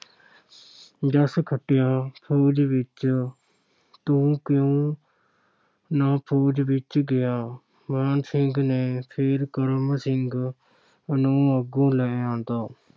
ਜੱਸ ਖੱਟਿਆ ਫ਼ੌਜ ਵਿੱਚ, ਤੂੰ ਕਿਉਂ ਨਾ ਫ਼ੌਜ ਵਿੱਚ ਗਿਆ? ਮਾਨ ਸਿੰਘ ਨੇ ਫਿਰ ਕਰਮ ਸਿੰਘ ਨੂੰ ਅੱਗੋਂ ਲੈ ਆਉਂਦਾ।